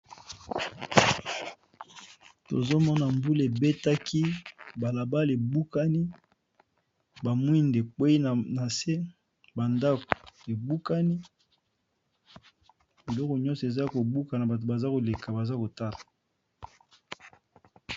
Tozomona mbula ebetaki balabala ebukani ba mwinda ekweyi na se ba ndako ebukani biloko nyonso eza kobuka na bato baza koleka baza kotala.